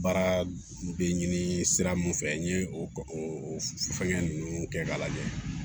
Baara bɛ ɲini sira min fɛ n ye o fɛngɛn ninnu kɛ k'a lajɛ